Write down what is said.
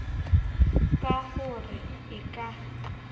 ka ho re e ka